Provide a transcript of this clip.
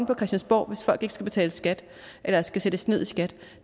på christiansborg hvis folk ikke skal betale skat eller skal sættes ned i skat